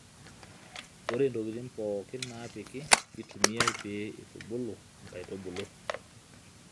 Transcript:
ore intokitin pookin naapiki keitumiae pee eitubulu inkaitubuulu